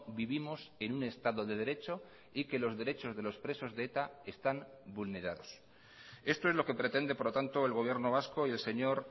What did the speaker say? vivimos en un estado de derecho y que los derechos de los presos de eta están vulnerados esto es lo que pretende por lo tanto el gobierno vasco y el señor